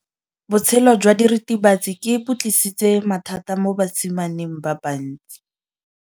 Botshelo jwa diritibatsi ke bo tlisitse mathata mo basimaneng ba bantsi.